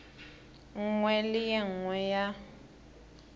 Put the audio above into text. nngwe le e nngwe ya